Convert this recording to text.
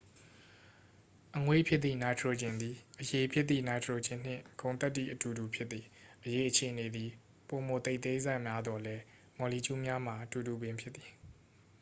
အငွေ့ဖြစ်သည့် နိုက်ထရိုဂျင်သည် အရည်ဖြစ်သည့် နိုက်ထရိုဂျင်နှင့် ဂုဏ်သတ္တိအတူတူဖြစ်သည် အရည်အခြေအနေသည် ပိုမိုသိပ်သည်းဆများသော်လည်း မော်လီကျူးများမှာ အတူတူပင်ဖြစ်သည်